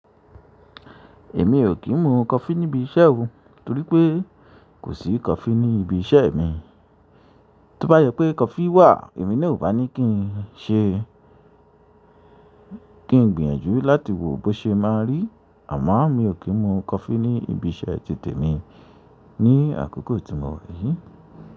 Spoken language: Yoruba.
Èmi ò kí ń mu coffee níbi iṣẹ́ o, torí pé kò sí coffee ní ibi iṣẹ́ mi. Tó bá jẹ pé coffee wà èmi ní o bá ní kí n ṣe- kí n gbìyànjú láti wò bó ṣe má a rí. Àmọ́ mi ò kí ń mu coffee ní ibi iṣẹ́ ti tèmi ní àkókò tí mo wà yìí.